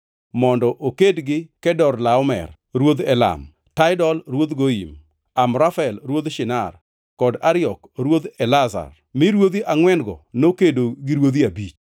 mondo oked gi Kedorlaomer ruodh Elam, Tidal ruodh Goyim, Amrafel ruodh Shinar kod Ariok ruodh Elasar mi ruodhi angʼwen-go nokedo gi ruodhi abich.